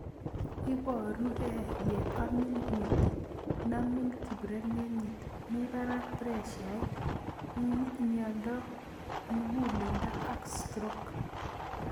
Iparukei ye amin metit , namin kiprereng'it, ye mii parak preshait ,m,miondo mug'uleldo ak stroke